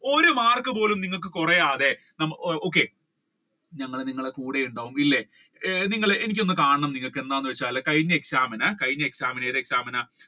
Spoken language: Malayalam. ഒരു മാർക്ക് പോലും നിങ്ങൾക്ക് കുറയാതെ okay ഞങ്ങൾ നിങ്ങളുടെ കൂടെ ഉണ്ടാവും ഇല്ലേ നിങ്ങളെ എനിക്ക് ഒന്നും കാണണം എന്താണെന്ന് വെച്ചാൽ കഴിഞ്ഞ exam ഇൻ കഴിഞ്ഞ exam ഏത് exam ഇൻ